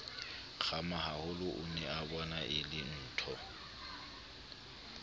kgamahaholo o neabona e lentho